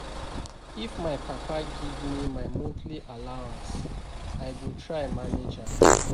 If my papa give me my monthly allowance I go try manage am